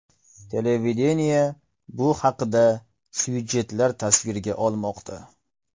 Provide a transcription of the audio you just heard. Televideniye bu haqda syujetlar tasvirga olmoqda.